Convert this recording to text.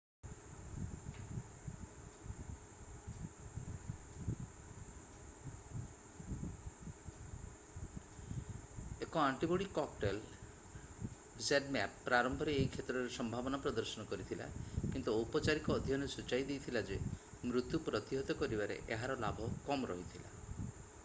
1 antibody cocktail zmapp ପ୍ରାରମ୍ଭରେ ଏହି କ୍ଷେତ୍ରରେ ସମ୍ଭାବନା ପ୍ରଦର୍ଶନ କରିଥିଲା କିନ୍ତୁ ଔପଚାରିକ ଅଧ୍ୟୟନ ସୂଚାଇ ଦେଇଥିଲା ଯେ ମୃତ୍ୟୁ ପ୍ରତିହତ କରିବାରେ ଏହାର ଲାଭ କମ୍ ରହିଥିଲା